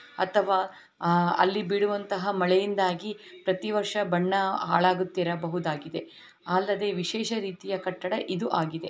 ಅಥವಾ ಆಹ್ ಅಲ್ಲಿ ಬಿಡುವಂತಹ ಮಳೆಯಿಂದಾಗಿ ಪ್ರತಿ ವರ್ಷ ಬಣ್ಣ ಹಾಳಾಗುತ್ತಿರಬಹುದಾಗಿದೆ. ಅಲ್ಲದೆ ವಿಶೇಷ ರೀತಿಯ ಕಟ್ಟಡ ಇದು ಆಗಿದೆ.